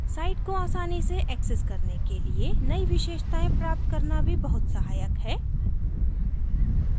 site को आसानी से एक्सेस करने के लिए नयी विशेषताएं प्राप्त करना भी बहुत सहायक है